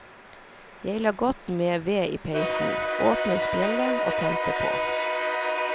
Jeg la godt med ved i peisen, åpnet spjeldet og tente på.